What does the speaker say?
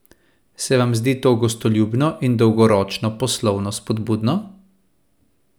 Se vam zdi to gostoljubno in dolgoročno poslovno spodbudno?